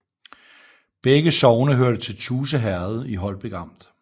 Begge sogne hørte til Tuse Herred i Holbæk Amt